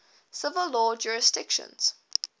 civil law jurisdictions